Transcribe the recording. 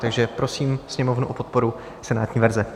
Takže prosím Sněmovnu o podporu senátní verze.